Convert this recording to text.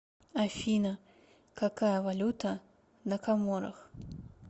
афина какая валюта на коморах